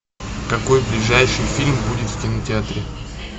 какой ближайший фильм будет в кинотеатре